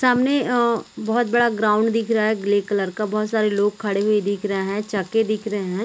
सामने अअ बहोत बड़ा ग्राउंड दिख रहा है ग्रे कलर का बहोत सारे लोग खड़े हुए दिख रहे है चके दिख रहे है।